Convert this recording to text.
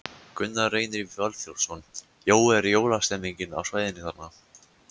Gunnar Reynir Valþórsson: Jói, er jólastemmning á svæðinu þarna?